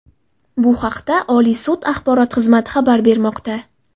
Bu haqda Oliy sud axborot xizmati xabar bermoqda.